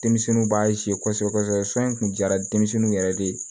Denmisɛnninw b'a kosɛbɛ kosɛbɛ yɛrɛ de